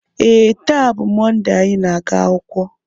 ee, taa bụ Mọnde anyị na-aga akwụkwọ